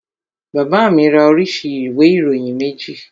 Bàbá mi ra oríṣi ìwé ìròyìn méjì